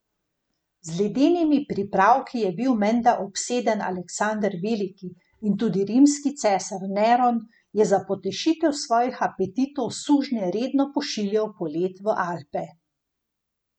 Z ledenimi pripravki je bil menda obseden Aleksander Veliki in tudi rimski cesar Neron je za potešitev svojih apetitov sužnje redno pošiljal po led v Alpe.